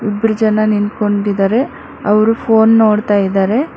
ಇಬ್ರು ಜನ ನಿಂತ್ಕೊಂಡಿದ್ದಾರೆ ಅವರು ಫೋನ್ ನೋಡ್ತಾ ಇದ್ದಾರೆ.